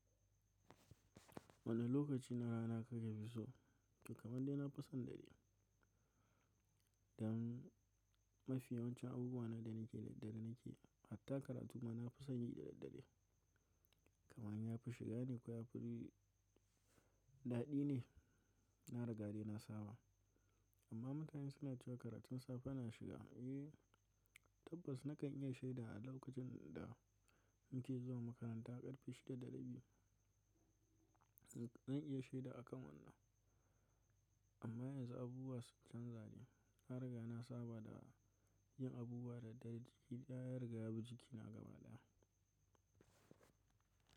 Wani lokaci na rana kake fi so, kamar dai na fi son dare. Dan mafi yawancin abubuwa na da nake da dare nake, hatta karatu ma na fi son yi da daddare. Kaman ya fi shiga ne, ko ya fi daɗi ne. Na riga dai na saba. Amma mutane suna cewa karatun safe na shiga. Eh, tabbas na kan iya shaida a lokacin da muke zuwa makaranta a ƙarfe shida da rabi. Zan iya shaida a kan wannan. Amma yanzu abubuwa sun canza ne. Na riga na saba da yin abubuwa da dare. Duk ya riga ya bi jikina gaba ɗaya.